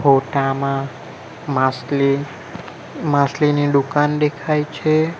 ફોટા માં માસલી માસલીની દુકાન દેખાય છે.